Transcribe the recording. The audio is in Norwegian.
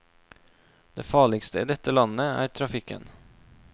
Det farligste i dette landet er trafikken.